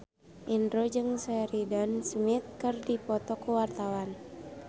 Indro jeung Sheridan Smith keur dipoto ku wartawan